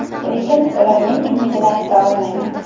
Lekin, ularning kimligini ayta olmayman.